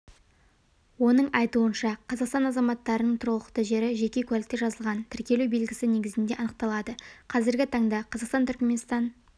оның айтуынша қазақстан азаматтарының тұрғылықты жері жеке куәлікте жазылған тіркелу белгісі негізінде анықталады қазіргі таңда қазақстан-түрікменстан